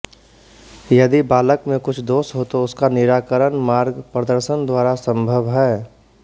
यदि बालक में कुछ दोष हो तो उसका निराकरण मार्ग प्रदर्शन द्वारा संभव है